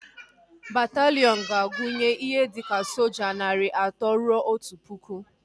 Bataliiọn ga-agunye ihe dika soja narị atọ rue otu pụkụ